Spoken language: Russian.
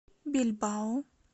бильбао